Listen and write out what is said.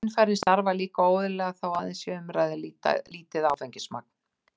Skynfærin starfa líka óeðlilega þótt aðeins sé um að ræða lítið áfengismagn.